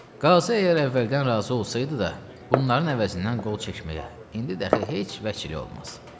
Qazı əgər əvvəldən razı olsaydı da, bunların əvəzindən qol çəkməyə indi də heç vəkili olmaz.